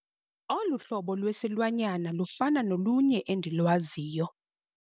Olu hlobo lwesilwanyana lufana nolunye endilwaziyo.